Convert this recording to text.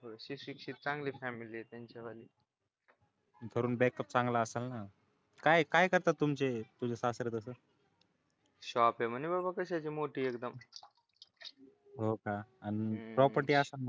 सुशिक्षित चांगली फॅमिली आहे त्यांच्या वाली घरून बॅकअप चांगला असेल ना काय करतात तुमचे तुझे सासरे तसं शॉप आहे म्हणे बाबा कशाची मोठी एकदम हो का आणि प्रॉपर्टी असन ना